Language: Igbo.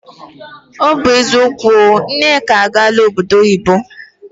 O bu eziokwu o, Nneka agaala obodo oyibo.